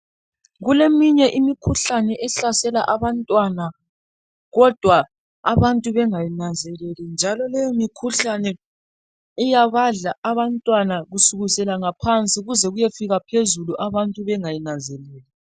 Kuleminye imikhuhlane ehlasela abantwana kodwa abantu bengayinanzeleli njalo leyo mikhuhlane iyabadla abantwana kusukisela ngaphansi kuze kuyefika phezulu abantu bengayinanzeleli.